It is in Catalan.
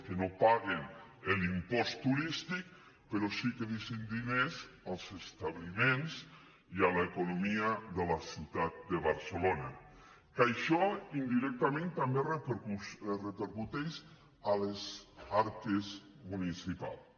que no paguen l’impost turístic però sí que deixen diners als establiments i a l’economia de la ciutat de barcelona que això indirectament també repercuteix a les arques municipals